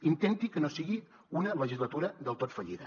intenti que no sigui una legislatura del tot fallida